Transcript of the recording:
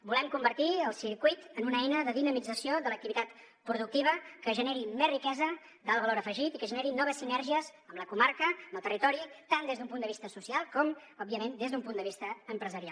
volem convertir el circuit en una eina de dinamització de l’activitat productiva que generi més riquesa d’alt valor afegit i que generi noves sinergies amb la comarca amb el territori tant des d’un punt de vista social com òbviament des d’un punt de vista empresarial